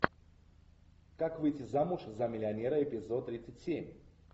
как выйти замуж за миллионера эпизод тридцать семь